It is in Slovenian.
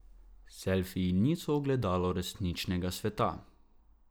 Selfiji niso ogledalo resničnega sveta.